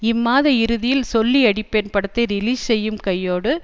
இம்மாத இறுதியில் சொல்லி அடிப்பேன் படத்தை ரிலீஸ் செய்யும் கையோடு